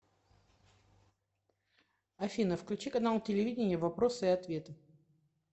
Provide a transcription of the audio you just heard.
афина включи канал телевидения вопросы и ответы